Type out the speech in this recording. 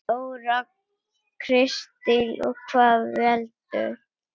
Þóra Kristín: Og hvað veldur?